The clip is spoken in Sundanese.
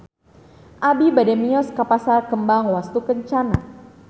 Abi bade mios ka Pasar Kembang Wastukencana